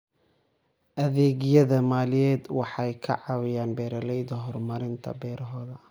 Adeegyada maaliyadeed waxay ka caawiyaan beeralayda horumarinta beerahooda.